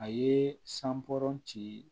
A ye sanbɔ ci